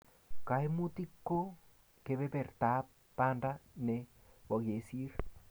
Kaimutik ko kepepertap panda ne bo kesir